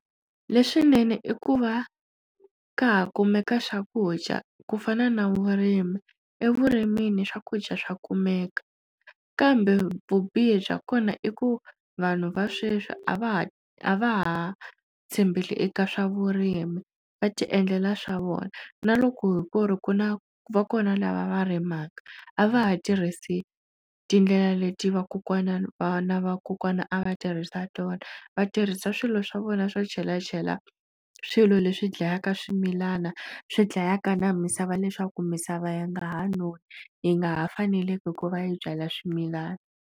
Leswinene i ku va ka ha kumeka swakudya ku fana na vurimi evurimini swakudya swa kumeka kambe vubihi bya kona i ku vanhu va sweswi a va ha a va ha tshembele eka swa vurimi va ti endlela swa vona na loko ku ri ku na va kona lava va rimaka a va ha tirhisi tindlela leti vakokwana vana vakokwana a va tirhisi swa tona vatirhisa swilo swa vona swo chelachela swilo leswi dlayaka swimilana swi dlayaka na misava leswaku misava yi nga ha noni yi nga ha faneleke ku va yi byala swimilana.